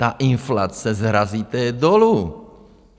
Ta inflace, srazíte ji dolů.